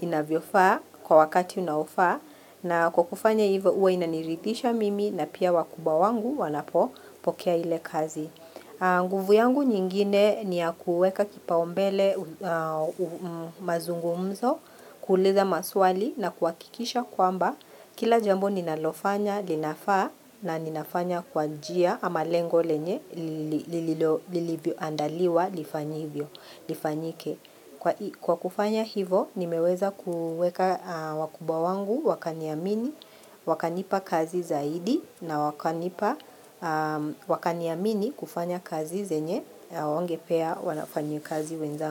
inavyofaa kwa wakati unaofaa. Na kwa kufanya hivyo huniridhisha, na pia wakubwa wangu wanapopokea kazi hiyo nguvu yangu nyingine ni kuweka kipaumbele mazungumzo kuuliza maswali na kuhakikisha kwamba kila jambo ninalofanya linafaa na ninafanya kwa njia ama lengo lenye lilivyoandaliwa lifanyike. Kwa kufanya hivyo nimeweza kufanya wakubwa wangu waniamini, wakanipa kazi zaidi, na wakaniamini kufanya kazi ambazo wasingewapa wafanyikazi wenzangu.